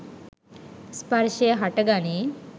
ස්පර්ෂය හට ගනී.